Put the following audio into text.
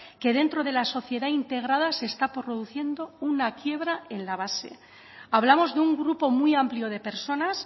que dentro de la sociedad integrada se está produciendo una quiebra en la base hablamos de un grupo muy amplio de personas